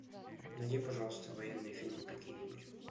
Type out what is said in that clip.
найди пожалуйста военные фильмы какие нибудь